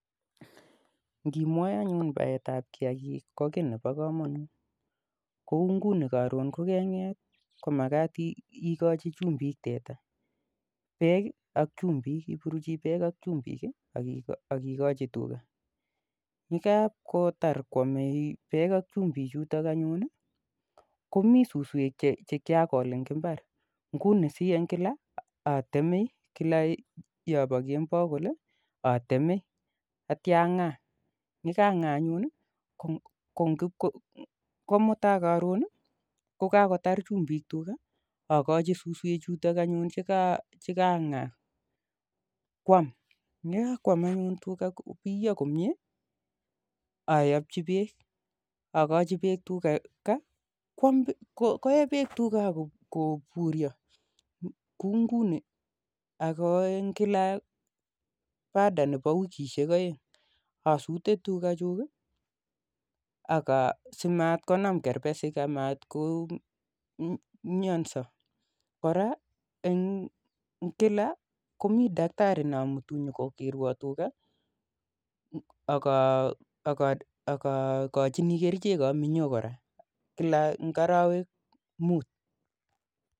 Ngimwae anyun baetap kiyakik ko kiit neboo kamanut kouu ngunii karoon yekenget komakat ikochii beek ak chumbik yetar ayun akochii auswek chikwatemchi kemboii yekotar komei suswek akochii be k anyun